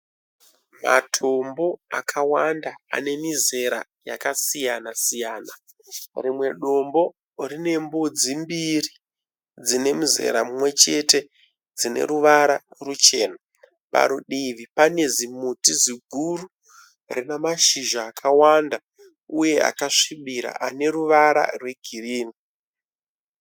Matombo akawanda ane mizera yakasiyana siyana rimwe dombo rinembudzi mbiri dzinemuzera mumwe chete dzine ruvara ruchena parudivi pane zimuti ziguru rine mashizha akawanda uye akasvibira aneruvara rwegirini